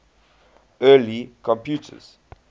early computers